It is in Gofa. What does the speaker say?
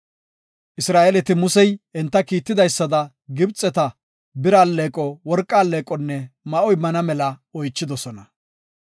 Isra7eeleti Musey enta kiitidaysada Gibxeta, bira alleeqo, worqa alleeqonne ma7o immana mela oychidosona.